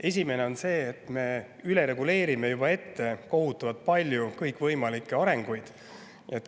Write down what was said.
Esimene on see, et me reguleerime üle ja ette kohutavalt palju kõikvõimalikke arenguid.